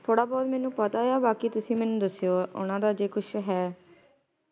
ਥੋੜ੍ਹਾ ਬਹੁਤ ਮੈਨੂੰ ਪਤਾ ਆ ਬਾਕੀ ਤੁਸੀਂ ਮੈਨੂੰ ਦਸਿਓ ਓਹਨਾ ਦਾ ਜੇ ਕੁਛ ਹੈ